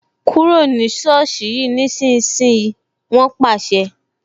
Kúrò ní soosi ni ìsinsìnyí "wọn pàṣẹ